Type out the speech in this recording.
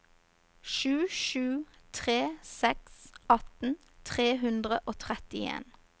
sju sju tre seks atten tre hundre og trettien